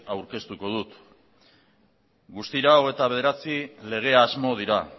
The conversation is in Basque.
aurkeztuko dut guztira hogeita bederatzi lege asmo dira